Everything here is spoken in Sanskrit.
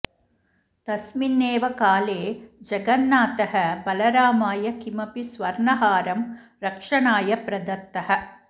तस्मिन्नेव काले जगन्नाथः बलरामाय किमपि सुवर्णहारं रक्षणाय प्रदत्तः